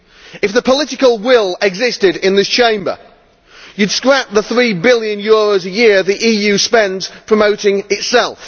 If the political will existed in this Chamber, you would scrap the EUR 3 billion a year the EU spends promoting itself.